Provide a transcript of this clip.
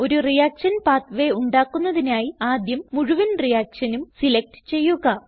ഒരു reaction pathway ഉണ്ടാക്കുന്നതിനായി ആദ്യം മുഴുവൻ reactionനും സിലക്റ്റ് ചെയ്യുക